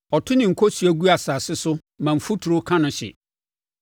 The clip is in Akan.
Ɔto ne nkosua gu asase so ma mfuturo ka no hye,